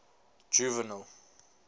juvenal